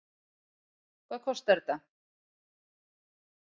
Hvað kostar þetta?